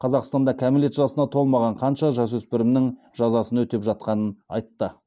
қазақстанда кәмелет жасына толмаған қанша жасөспірімнің жазасын өтеп жатқанын айтты